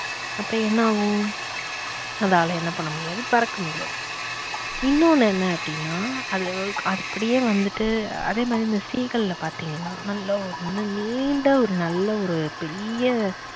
அப்ப என்ன ஆகும் அதால என்ன பண்ண முடியாது பறக்க முடியாது. இன்னு ஒன்னு என்ன அப்படின்னா அது அப்படியே வந்துட்டு அதே மாதிரி இந்த seegal ல பாத்தீங்கன்னா நல்ல ஒரு நீண்ட ஒரு நல்ல ஒரு பெரிய